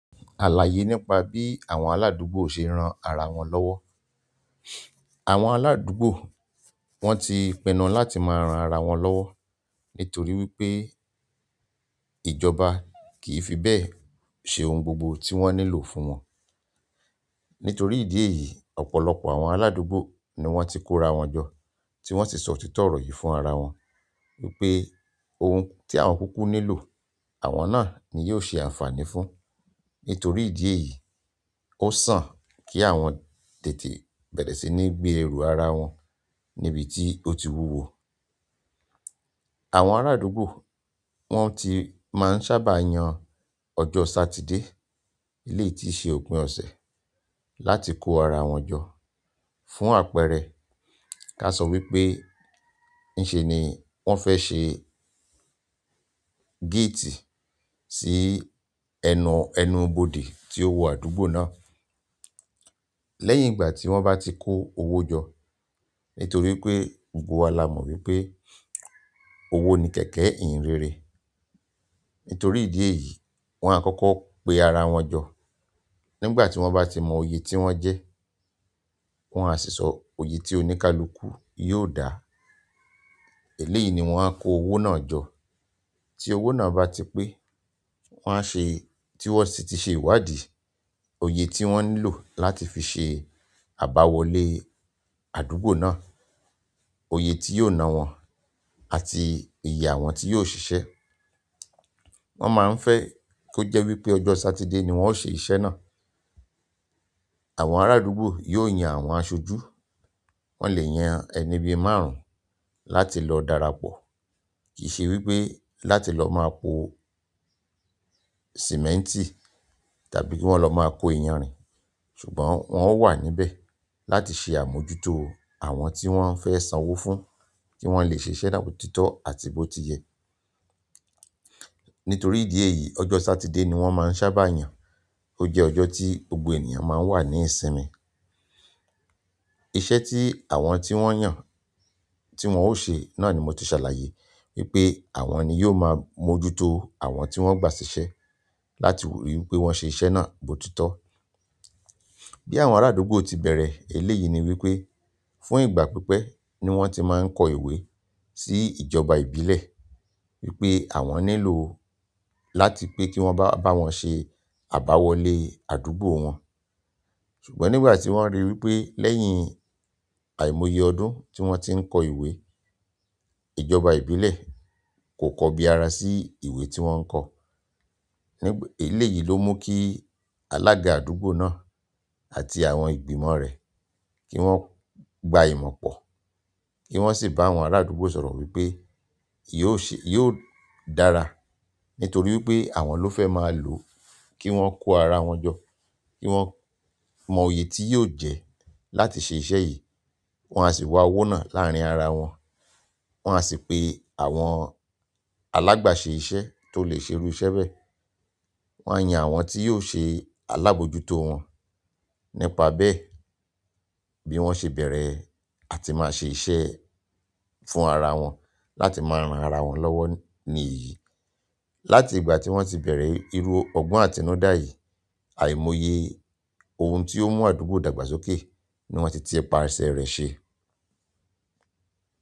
Àlàyé nípa bí àwọn aládùúgbò ṣe ran ara wọn lọ́wọ́. Àwọn aládùúgbò wọ́n ti pinnu láti máa ran ara wọn lọ́wọ́ nítorí wípé ìjọba kìí fi bẹ́ẹ̀ ṣe ohun gbogbo tí wọ́n nílò fún wọn. Nítorí ìdí èyí, ọ̀pọ̀lọpọ̀ àwọn aládùúgbò ni wọ́n ti kóra wọn jọ, tí wọ́n sì sọ òtítọ́ ọ̀rọ̀ yìí fún arawọn wípé ohun tí àwọn kúkú nílò, àwọn náà ni yóò ṣe ànfàní fún. Nítorí ìdí èyí, ó sàn kí àwọn tètè bẹ̀rẹ̀ sí ní gbé ẹrù ara wọn níbi tí ó ti wúwo. Àwọn ará àdúgbò wọ́n ti máa ń sábà yàn ọjọ́ Sátidé, eléyìí tíí ṣe òpin ọ̀sẹ̀, láti kó ara wọn jọ fún àpẹẹrẹ ká sọ wípé n ìṣe ni wọ́n fẹ́ ṣe gate sí ẹnu, ẹnu ibodè tí ó wọ àdúgbò náà. Lẹ́yìn ìgbà tí wọ́n bá ti kó owó jọ, nítorí pé gbogbo wa la mọ̀ wípé owó ni kẹ̀kẹ́ ìyìn rere. Nítorí ìdí èyí, wọ́n á kọ́kọ́ pe ara wọn jọ. Nígbà ti wọn ba ti mọ iye ti wọn jẹ, wọn a sì sọ iye tí oníkálukú yóò dá. Eléyìí ni wọ́n a kó owó náà jọ. Tí owó náà bá ti pé, wọ́n a ṣe, tí wọ́n sì ti ṣe ìwádìí iye ti won nílò láti fi se aba wọlé àdúgbò náà, iye ti yóò na won àti iye àwọn ti yóò sise. Wọ́n máa ń fẹ́ kó jẹ́ wípé ọjọ́ Sátidé ni wọ́n ó ṣe iṣẹ́ náà. Àwọn ará àdúgbò yóò yan àwọn aṣojú. Wọn le yan ẹni bíi márùn láti lọ darapọ̀. Kì í ṣe wípé láti lọ máa po sìmẹ́ǹtì tàbí kí wón lọ máa kó iyanrìn, ṣùgbọ́n wọn ó wà níbẹ̀ láti ṣe àmójútó àwọn tí wọ́n fẹ́ sanwó fún, kí wọ́n le ṣe iṣẹ́ náà bi o títọ́ àti bó ti yẹ. Nítorí ìdí èyí, ọjọ́ Sátidé ni wọ́n máa ń sábà yàn. Ó jẹ́ ọjọ́ tí gbogbo ènìyàn máa ń wà ní ìsinmi. Iṣẹ́ tí àwọn tí wọ́n yàn tí wọn ó ṣe náà ni mo ti ṣàlàyé wípé àwọn ni yóò máa mójútó àwọn tí wọ́n gbà sí iṣẹ́ láti rí wípé wọ́n ṣe iṣẹ́ náà bó titọ́. Bí àwọn ará àdúgbò ti bẹ̀rẹ̀ eléyìí ni wípé fún ìgbà pípẹ́ ni wọ́n ti máa ń kọ ìwé sí ìjọba ìbílẹ̀ wípé àwọn nílò láti pe ki won bawon se abawole àdúgbò won. Ṣùgbọ́n nígbà tí wọ́n ríi wípé lẹ́yìn àìmoye ọdún tí wọ́n ti ń kọ ìwé, ìjọba ìbílẹ̀ kò kọbí ara sí ìwé tí wọ́n ń kọ. Eléyìí ló mú kí alága àdúgbò náà àti àwọn ìgbìmọ̀ rẹ̀ kí wọ́n gba ìmọ̀ pọ̀ ni wọ́n sì bá àwọn ará àdúgbò sọ̀rọ̀ wípé yóò ṣe, yóò dára nítorí wípé àwọn ló fẹ́ máa lò ó kí wọ́n kó ara wọn jọ, kí wọ́n mọ iye tí yóò jẹ́ láti ṣe iṣẹ́ yìí. Wọn a sì wá owó náà láàrin ara wọn, wọn a sì pe àwọn alágbaṣe iṣẹ́ tó lè ṣe irú iṣẹ́ bẹ́ẹ̀. Wọn a yan àwọn tí yóò ṣe alábòójútó wọn. Nípa bẹ́ẹ̀ bí wọ́n ṣe bẹ̀rẹ̀ á ti máa ṣe iṣẹ́ fún ara wọn láti máa ran ara wọn lọ́wọ́ ní iyì. Láti ìgbà ti won ti bere iru ogbon atinudayi aimoye ohun ti o n mu àdúgbò dàgbà sókè niwon ti ti pase re se.